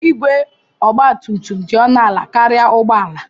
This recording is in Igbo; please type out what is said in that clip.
Igwe Ogba tum tum dị ọnụ ala karịa ụgbọ ala.